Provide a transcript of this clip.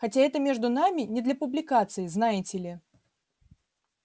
хотя это между нами не для публикации знаете ли